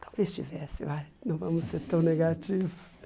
Talvez tivesse, vai, não vamos ser tão negativos.